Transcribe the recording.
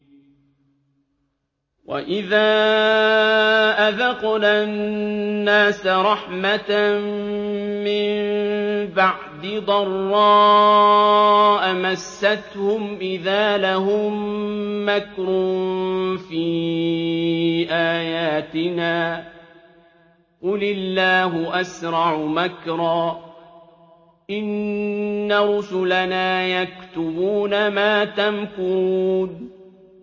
وَإِذَا أَذَقْنَا النَّاسَ رَحْمَةً مِّن بَعْدِ ضَرَّاءَ مَسَّتْهُمْ إِذَا لَهُم مَّكْرٌ فِي آيَاتِنَا ۚ قُلِ اللَّهُ أَسْرَعُ مَكْرًا ۚ إِنَّ رُسُلَنَا يَكْتُبُونَ مَا تَمْكُرُونَ